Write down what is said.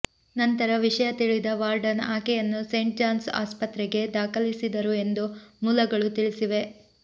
ನಂತರ ವಿಷಯ ತಿಳಿದ ವಾರ್ಡನ್ ಆಕೆಯನ್ನು ಸೇಂಟ್ ಜಾನ್ಸ್ ಆಸ್ಪತ್ರೆಗೆ ದಾಖಲಿಸಿದರು ಎಂದು ಮೂಲಗಳು ತಿಳಿಸಿವೆ